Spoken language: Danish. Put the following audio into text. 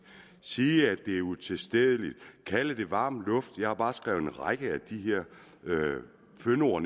sige at det er utilstedeligt kalde det varm luft jeg har bare skrevet en række af de her fyndord